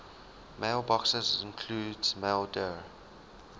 mailboxes include maildir